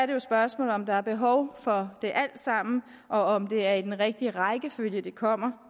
det et spørgsmål om der er behov for det alt sammen og om det er i den rigtige rækkefølge det kommer